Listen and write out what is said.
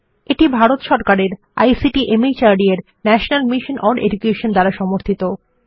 এটি ভারত সরকারের ICT MHRD এর ন্যাশনাল মিশন ওন এডুকেশন দ্বারা সমর্থিত